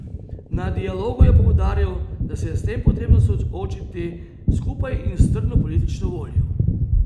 Na dialogu je poudaril, da se je s tem potrebno soočiti skupaj in s trdno politično voljo.